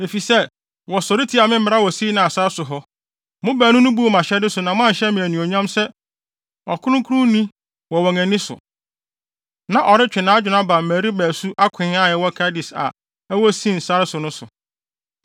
efisɛ wɔsɔre tiaa me mmara wɔ Sin sare so hɔ, mo baanu no buu mʼahyɛde so na moanhyɛ me anuonyam sɛ ɔkronkronni wɔ wɔn ani so.” Na ɔretwe nʼadwene aba Meriba nsu “Akoe” a ɛwɔ Kades a ɛwɔ Sin sare so no so.